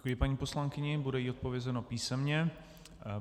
Děkuji paní poslankyni, bude jí odpovězeno písemně.